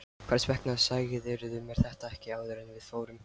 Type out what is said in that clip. Hvers vegna sagðirðu mér þetta ekki áður en við fórum?